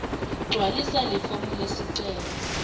gcwalisa lifomu lesicelo